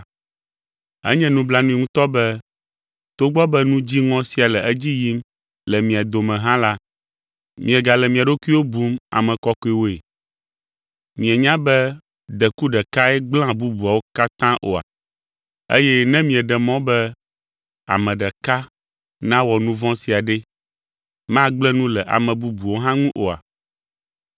Enye nublanui ŋutɔ be, togbɔ be nu dziŋɔ sia le edzi yim le mia dome hã la, miegale mia ɖokuiwo bum ame kɔkɔewoe. Mienyae be, “Deku ɖekae gblẽa bubuawo katã oa?” Eye ne mieɖe mɔ be ame ɖeka nawɔ nu vɔ̃ sia ɖe, magblẽ nu le ame bubuwo hã ŋu oa?